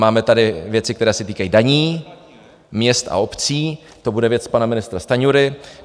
Máme tady věci, které se týkají daní, měst a obcí, to bude věc pana ministra Stanjury.